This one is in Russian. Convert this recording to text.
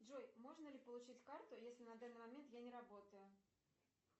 джой можно ли получить карту если на данный момент я не работаю